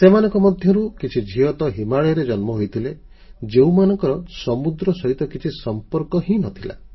ସେମାନଙ୍କ ମଧ୍ୟରୁ କିଛି ଝିଅ ତ ହିମାଳୟରେ ଜନ୍ମ ହୋଇଥିଲେ ଯେଉଁମାନଙ୍କର ସମୁଦ୍ର ସହିତ କିଛି ସମ୍ପର୍କ ହିଁ ନ ଥିଲା